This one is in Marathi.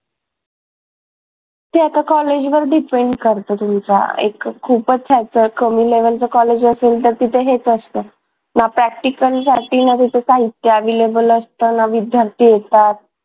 ते आता कॉलेज वर depend करत तुमच्या एक खूपच ह्याचं कमी level च कॉलेज असेल तर तिथं हेच असतं. ना practical साठी ना तिथं साहित्य available असतं ना विद्यार्थी येतात.